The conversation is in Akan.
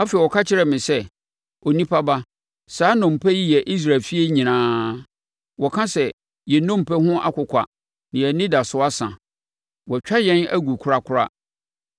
Afei ɔka kyerɛɛ me sɛ, “Onipa ba, saa nnompe yi yɛ Israel efie nyinaa. Wɔka sɛ: ‘Yɛn nnompe ho akokwa na yɛn anidasoɔ asa. Wɔatwa yɛn agu korakora.’